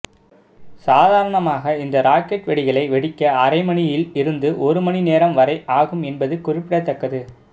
சாதாரணமாக இந்த ராக்கெட் வெடிகளை வெடிக்க அரை மணியில் இருந்து ஒரு மணி நேரம் வரை ஆகும் என்பது குறிப்பிடத்தக்கது